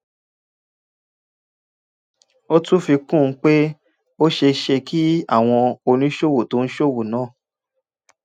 ó tún fi kún un pé ó ṣeé ṣe kí àwọn oníṣòwò tó ń ṣòwò náà